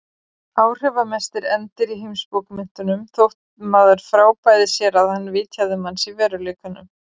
Áhrifamesti endir í heimsbókmenntunum þótt maður frábæði sér að hann vitjaði manns í veruleikanum.